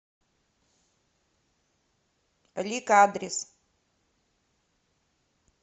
лик адрес